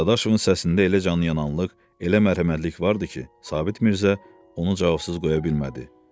Dadaşovun səsində elə canıyananlıq, elə mərhəmətlik vardı ki, Sabit Mirzə onu cavabsız qoya bilmədi.